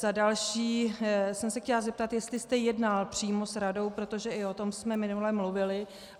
Za další jsem se chtěla zeptat, jestli jste jednal přímo s radou, protože i o tom jsme minule mluvili.